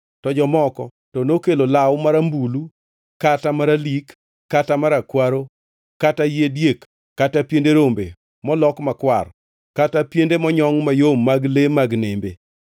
to jomoko to nokelo law marambulu, kata maralik, kata marakwaro, kata yie diek, kata piende rombe molok makwar, kata piende monyongʼ mayom mag le mag nembe.